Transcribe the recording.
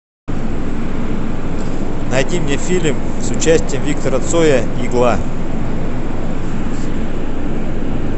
найди мне фильм с участием виктора цоя игла